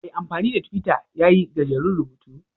Mai amfani da Twitter ya yi gajeren rubutu